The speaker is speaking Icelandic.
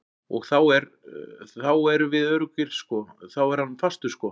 Og þá er, þá erum við öruggir sko, þá er hann fastur sko.